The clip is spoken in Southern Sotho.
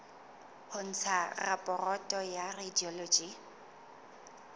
ho ntsha raporoto ya radiology